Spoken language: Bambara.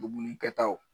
Dumuni kɛtaw